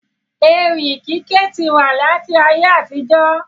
Ewì kíké ti wà láti ayé àtijọ́